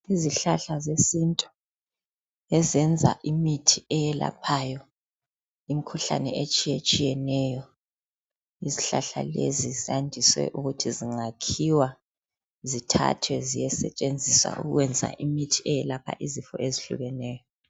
Izihlahla zesintu ezenza imithi eyelaphayo imikhuhlane etshiyetshiyeneyo. Izihlahla lezi ziyandise ukuthi zingakhiwa zithathwe ziyesetshenziswa ukwenza imithi eyelapha izifo ezehlukeneyo